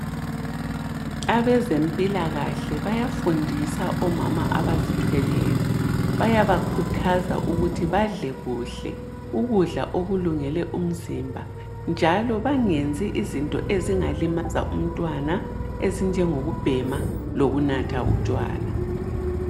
Abazempilakahle bayafundisa omama abazithweleyo, bayabakhuthaza ukuthi badle kuhle ukudla okulungele umzimba. Njalo bangenzi izinto ezingalimaza umntwana ezinjengokubhema lokunatha utshwala.